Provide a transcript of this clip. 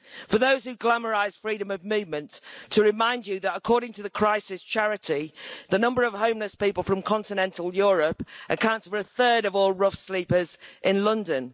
For those who glamorise freedom of movement, to remind you that according to the charity Crisis, the number of homeless people from continental Europe accounts for a third of all rough sleepers in London.